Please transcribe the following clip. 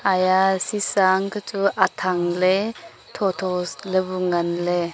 he shisa an kya bu chu athang ley tho tho se ley ngan ley.